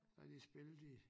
Så har de spillet i